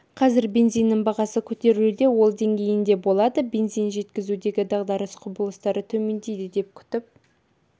қазір бензиннің бағасы көтерілуде ол деңгейінде болады бензин жеткізудегі дағдарыс құбылыстары төмендейді деп күтіп